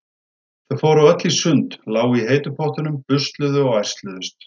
Þau fóru öll í sund, lágu í heitu pottunum, busluðu og ærsluðust.